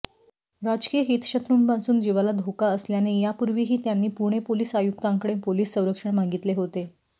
राजकीय हितशत्रूंपासून जिवाला धोका असल्यो यापूर्वीही त्यांनी पुणे पोलीस आयुक्तांकडे पोलीस सरंक्षण मागितले होते